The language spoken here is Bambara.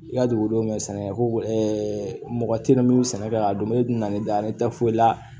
I ka dugukolo sɛnɛ ko mɔgɔ teliman min be sɛnɛ kɛ ka dun ne dun nana ne da ne tɛ foyi la